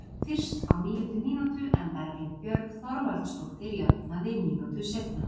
Fyrst á níundu mínútu en Berglind Björg Þorvaldsdóttir jafnaði mínútu seinna.